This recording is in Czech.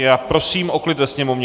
Já prosím o klid ve Sněmovně!